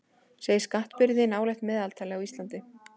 Segir skattbyrði nálægt meðaltali á Íslandi